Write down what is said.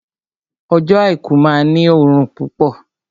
Ọjọ́ àìkú máa ní òrùn púpọ̀